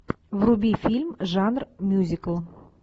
вруби фильм жанр мюзикл